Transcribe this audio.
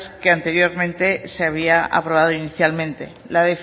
que anteriormente se había aprobado inicialmente la